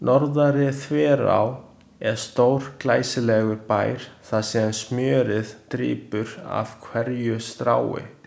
Norðari-Þverá er stórglæsilegur bær þar sem smjörið drýpur af hverju strái.